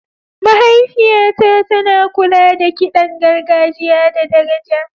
Mahaifiyata tana kula da kiɗan gargajiya da daraja.